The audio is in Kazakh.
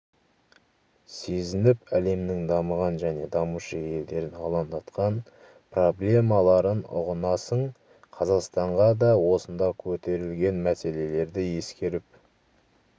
сезініп әлемнің дамыған және дамушы елдерін алаңдатқан проблемаларын ұғынасың қазақстанға да осында көтерілген мәселелерді ескеріп